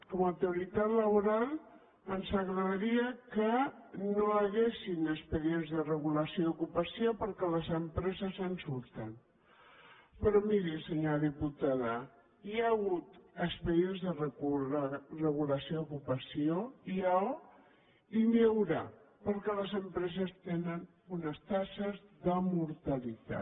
com autoritat laboral ens agradaria que no hi haguessin expedients de regulació i ocupació perquè les empreses se’n surten però miri senyora diputada hi ha hagut expedients de regulació d’ocupació n’hi ha i n’hi haurà perquè les empreses tenen unes taxes de mortalitat